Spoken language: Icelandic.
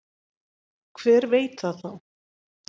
Hver veit það þá?